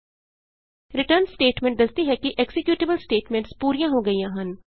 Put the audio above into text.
return statement ਦੱਸਦੀ ਹੈ ਕਿ ਐਕਜ਼ੀਕਯੂਟੇਬਲ ਸਟੇਟਮੈਂਟਸ ਪੂਰੀਆਂ ਹੋ ਗਈਆਂ ਹਨ